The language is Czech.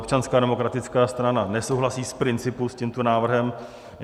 Občanská demokratická strana nesouhlasí z principu s tímto návrhem.